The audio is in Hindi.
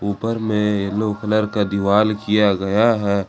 ऊपर में येलो कलर का के दीवाल किया गया है।